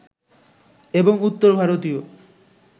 এবং উত্তর ভারতীয়